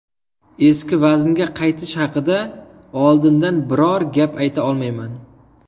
Eski vaznga qaytish haqida oldindan biror gap ayta olmayman.